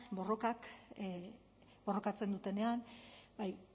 borrokatzen dutenean